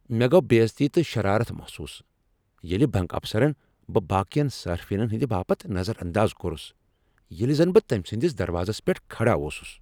مےٚ گو بے عزتی تہٕ شرارتھ محسوس، ییٚلہ بنٛک افسرن بہٕ باقین صارفینن ہنٛدِ باپت نظر انداز کوٚرس ، ییٚلہ زن بہٕ تٔمۍ سٕنٛدس دروازس پیٹھ کھڑا اوسُس۔